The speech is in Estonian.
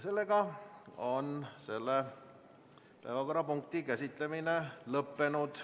Selle päevakorrapunkti käsitlemine on lõpetatud.